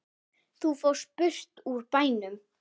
Þú fórst burt úr bænum.